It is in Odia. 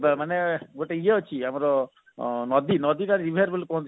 ମାନେ ଗୋଟେ ଇଏ ଅଛି ଆମର ନଦୀ ନଦୀ ନଦୀ ଟା river ବୋଲି କୁହନ୍ତି